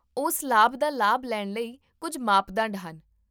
ਉਸ ਲਾਭ ਦਾ ਲਾਭ ਲੈਣ ਲਈ ਕੁੱਝ ਮਾਪਦੰਡ ਹਨ